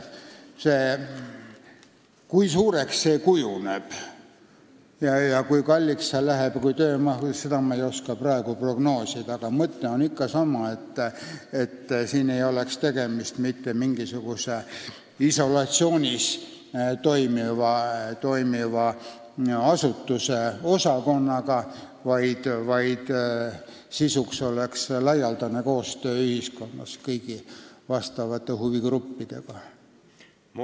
Kui suureks see ülesanne kujuneb ning kui kalliks ja töömahukaks see läheb, seda ei oska ma praegu prognoosida, aga mõte on ikka sama: siin ei oleks tegemist mitte mingisuguse isolatsioonis toimiva asutuse osakonnaga, vaid toimuks laialdane koostöö kõigi huvigruppidega ühiskonnas.